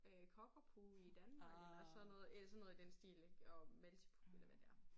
Øh Cockapoo i Danmark eller sådan noget eller sådan noget i den stil ik og Maltipoo eller hvad det er